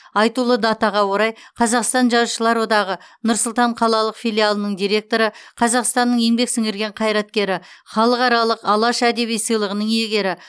айтулы датаға орай қазақстан жазушылар одағы нұр сұлтан қалалық филиалының директоры қазақстанның еңбек сіңірген қайраткері халықаралық алаш әдеби сыйлығының иегері